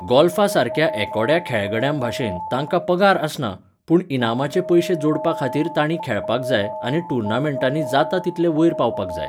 गोल्फासारक्या एकोड्या खेळगड्यांभाशेन, तांकां पगार आसना, पूण इनामाचे पयशे जोडपाखातीर तांणी खेळपाक जाय आनी टुर्नामेंटांनी जाता तितले वयर पावपाक जाय.